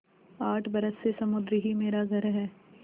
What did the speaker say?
आठ बरस से समुद्र ही मेरा घर है